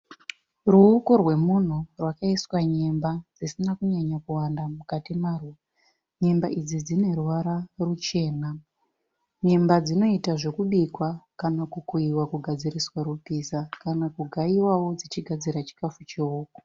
Ruoko rwemunhu rwakaiswa nyemba dzisina kunyanyokuwanda mukati marwo. Nyemba idzi dzine ruvara ruchena. Nyemba dzinoita zvekubikwa kana kukuiwa dzichigadziriswa rupiza kana kugaiwawo dzichigadzira chikafu chehuku.